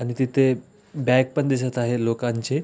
आणि तिथे बॅग पण दिसत आहे लोकांची.